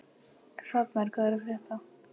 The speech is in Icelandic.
Hrafnar, hvað er að frétta?